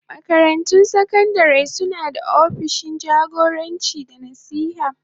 Makarantun sakandare suna da opishin jagoranci da nasiha.